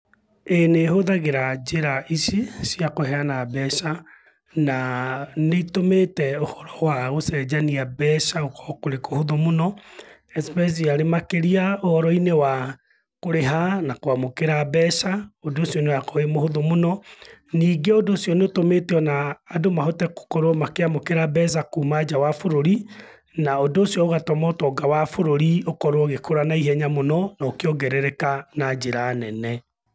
Ĩĩ nĩhũthagĩra njĩra ici cia kũheana mbeca, naa nĩitũmĩte ũhoro wa gũcenjania mbeca gũkorũo kũrĩ kũhũthũ mũno, especially makĩrĩa ũhoro-inĩ wa, kũrĩha na kũamũkĩra mbeca, ũndũ ucio nĩũrakorũo wĩ mũhũthũ mũno. Ningĩ ũndũ ũcio nĩũtũmĩte ona, andũ mahote gũkorũo makĩamũkĩra mbeca kuma nja wa bũrũri, na ũndũ ũcio ũgatũma ũtonga wa bũrũri ũkorũo ũgĩkũra naihenya mũno, na ũkĩongerereka na njĩra nene.